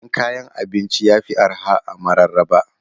Siyan kayan abinci yafi arha a mararaba.